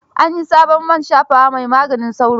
An yi sabon man shafawa mai magaanin sauro.